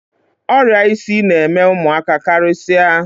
Ọrịa isi na-eme ụmụaka karịsịa.